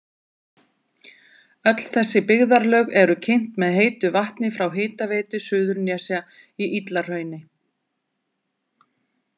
Öll þessi byggðarlög eru kynt með heitu vatni frá Hitaveitu Suðurnesja í Illahrauni.